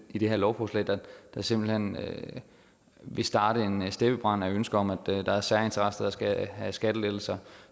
i det her lovforslag der simpelt hen vil starte en steppebrand af ønsker om at der er særinteresser der skal have skattelettelser